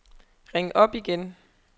ring op igen